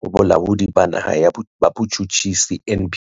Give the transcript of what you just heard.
ho Bolaodi ba Naha ba Botjhutjhisi, NPA.